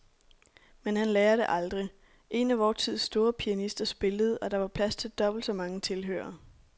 Men han lærer det aldrig. En af vor tids store pianister spillede, og der var plads til dobbelt så mange tilhørere.